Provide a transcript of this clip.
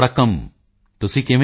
ਪੋਨ ਮਰਿਯੱਪਨ ਤਮਿਲ ਵਿੱਚ ਜਵਾਬ